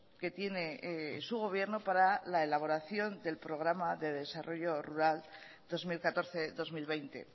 que tiene su gobierno para la elaboración del programa del desarrollo rural dos mil catorce dos mil veinte